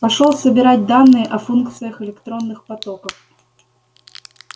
пошёл собирать данные о функциях электронных потоков